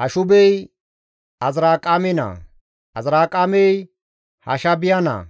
Hashubey Azirqaame naa; Azirqaamey Hashaabiya naa.